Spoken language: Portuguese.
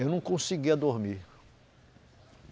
Eu não conseguia dormir.